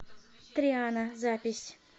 триана запись